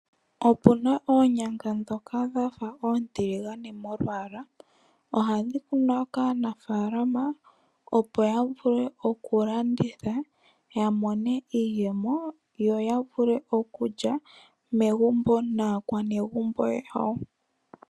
Opuna oonyanga ndhoka dhafa oontiligane molwaala . Ohadhi kunwa kaanafaalama opo yavule okulanditha yamone iiyemo yo yavule okulya megumbo naakwanegumbo yawo.